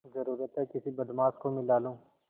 जरुरत हैं किसी बदमाश को मिला लूँ